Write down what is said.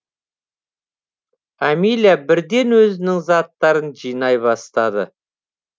амиля бірден өзінің заттарын жинай бастады